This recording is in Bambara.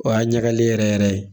O y'a ɲagalen yɛrɛ yɛrɛ ye